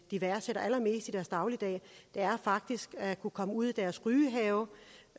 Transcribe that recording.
de værdsætter allermest i deres dagligdag faktisk er at kunne komme ud i deres rygehave